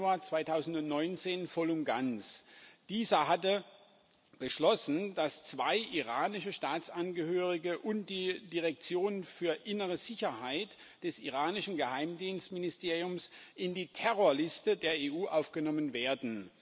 8. Januar 2019 voll und ganz. Dieser hatte beschlossen, dass zwei iranische Staatsangehörige und die Direktion für innere Sicherheit des iranischen Geheimdienstministeriums in die Terrorliste der EU aufgenommen werden.